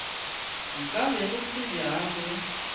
nka be go se bjalo